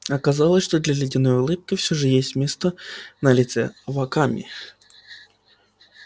оказалось что для ледяной улыбки все же есть место на лице аваками